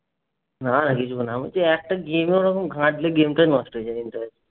না কিছু হবে না। একটা game ওরকম ঘাটলে game টা নষ্ট হয়ে যাবে